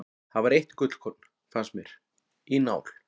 Það var eitt gullkorn, fannst mér, í nál.